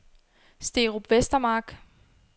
Sterup Vestermark